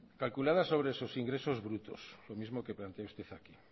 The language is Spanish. calculadas sobre sus ingresos brutos lo mismo que plantea usted aquí